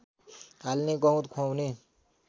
हाल्ने गहुँत खुवाउने